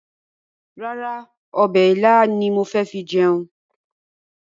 Rárá, ọbẹ̀ ilá ni mo fi jẹun.